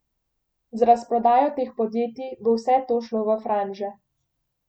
Z razprodajo teh podjetij bo vse to šlo v franže.